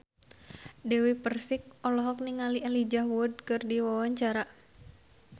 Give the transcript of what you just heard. Dewi Persik olohok ningali Elijah Wood keur diwawancara